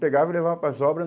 Pegava e levava para as obra.